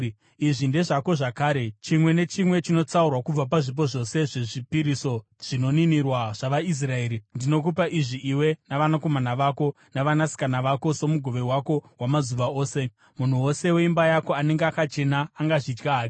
“Izvi ndezvako zvakare: chimwe nechimwe chinotsaurwa kubva pazvipo zvose zvezvipiriso zvinoninirwa zvavaIsraeri. Ndinokupa izvi iwe navanakomana vako navanasikana vako somugove wako wamazuva ose. Munhu wose weimba yako anenge akachena angazvidya hake.